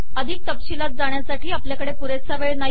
अधिक तपशिलात जाण्यासाठी आपल्याकडे पुरेसा वेळ नाही